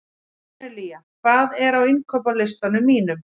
Kornelía, hvað er á innkaupalistanum mínum?